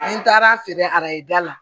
N taara feere arajo da la